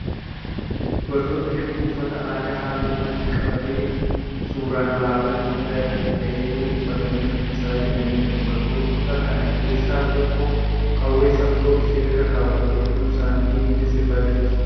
Dubartoota hedduu uffata aadaa halluu adii qabaatee suuraan alaabaa Itiyoopiyaa irratti ka'ee jiru uffatanii shubbisaa jiraniidha. Dubartoota kana keessaa tokko qawwee saggoo ishee irra kaawwattee gidduu isaanii deemtee sirbaa jirti.